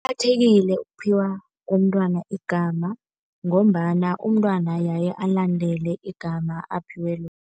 Kuqakathekile ukuphiwa komntwana igama ngombana umntwana yaye alandele igama aphiwe lona.